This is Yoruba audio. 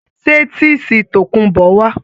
Ṣé tísìì tòkunbó wà?